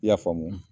I y'a faamu